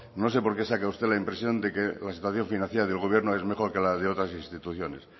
no sé por qué saca usted la impresión de que la situación financiera del gobierno es mejor que la de otras instituciones